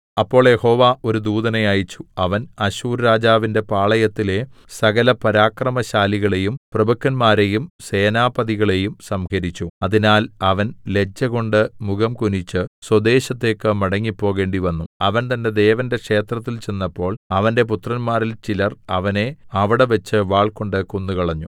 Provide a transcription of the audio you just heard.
അപ്പോൾ യഹോവ ഒരു ദൂതനെ അയച്ചു അവൻ അശ്ശൂർരാജാവിന്റെ പാളയത്തിലെ സകല പരാക്രമശാലികളെയും പ്രഭുക്കന്മാരെയും സേനാപതികളെയും സംഹരിച്ചു അതിനാൽ അവൻ ലജ്ജകൊണ്ട് മുഖം കുനിച്ച് സ്വദേശത്തേക്ക് മടങ്ങിപ്പോകേണ്ടിവന്നു അവൻ തന്റെ ദേവന്റെ ക്ഷേത്രത്തിൽ ചെന്നപ്പോൾ അവന്റെ പുത്രന്മാരിൽ ചിലർ അവനെ അവിടെവെച്ച് വാൾകൊണ്ട് കൊന്നുകളഞ്ഞു